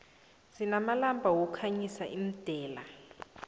sinamalamba wokukhanyisa imdela